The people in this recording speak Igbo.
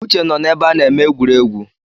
Uche nọ n’ebe a na-eme egwuregwu